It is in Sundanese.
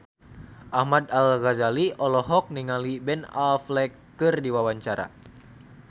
Ahmad Al-Ghazali olohok ningali Ben Affleck keur diwawancara